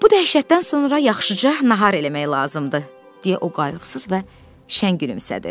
Bu dəhşətdən sonra yaxşıca nahar eləmək lazımdır, deyə o qayğısız və şən gülümsədi.